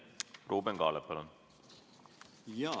Ruuben Kaalep, palun!